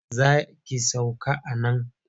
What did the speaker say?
Za ki sauka a nan?